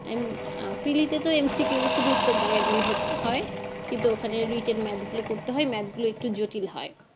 উম Preli তে তো M C Q শুধু উত্তর দাগে দিলে হতো হয় কিন্তু ওখানে যদি Written maths গুলো করতে হয় Math গুলো একটু জটিল হয়